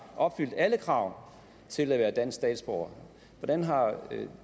opfyldt alle krav til at være dansk statsborger hvordan har